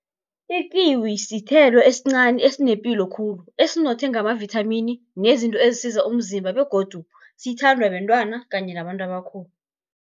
Ikiwi sithelo esincani esinepilo khulu, esinothe ngamavithamini nezinto ezisiza umzimba, begodu sithandwa bentwana kanye nabantu abakhulu.